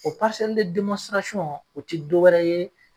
O o te dɔ wɛrɛ ye